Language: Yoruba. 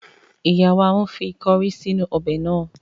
Ìyá wa ń fi kọrí sínú ọbẹ̀ náà.